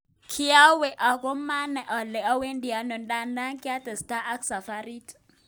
Kiaweng ogo manak ale awendi ano ndadan kiates ta ak safarit.,"